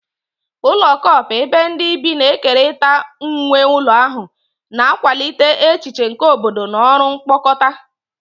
Ụlọ co-op, ebe ndị bi na-ekerịta nwe ụlọ ahụ, na-akwalite echiche nke obodo na ọrụ mkpokọta.